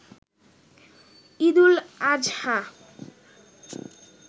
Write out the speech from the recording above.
Eid ul Azha